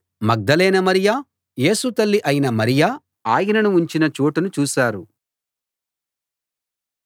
మగ్దలేనే మరియ యేసు తల్లి అయిన మరియ ఆయనను ఉంచిన చోటును చూశారు